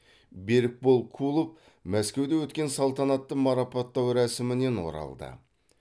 берікбол кулов мәскеуде өткен салтанатты марапаттау рәсімінен оралды